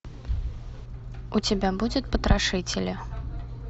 у тебя будет потрошители